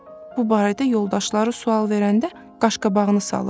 Bu barədə yoldaşları sual verəndə qaşqabağını salırdı.